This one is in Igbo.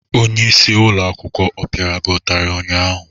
Onyeisi ụlọ akwụkwọ apịara gị ụtarị ụnyaahụ?